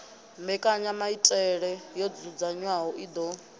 mbekanyamaitele yo dzudzanywaho i ḓo